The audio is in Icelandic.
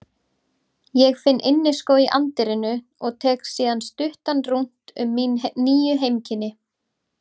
Ég finn inniskó í anddyrinu og tek síðan stuttan rúnt um mín nýju heimkynni